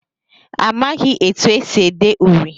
Amaghị etu e si ede uri.